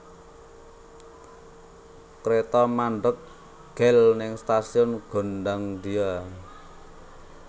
Kreto mandheg gel ning stasiun Gondangdia